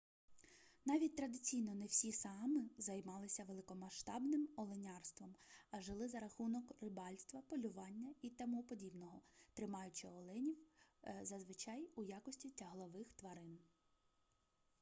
навіть традиційно не всі саами займалися великомасштабним оленярством а жили за рахунок рибальства полювання і т п тримаючи оленів зазвичай у якості тяглових тварин